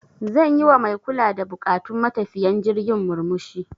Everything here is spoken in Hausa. Zan yi wa mai kula da buƙatun matafiyan jirgin murmushi.